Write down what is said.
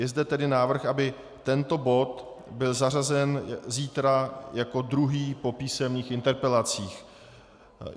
Je zde tedy návrh, aby tento bod byl zařazen zítra jako druhý po písemných interpelacích.